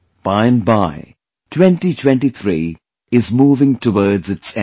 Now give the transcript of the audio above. By and by, 2023 is moving towards its end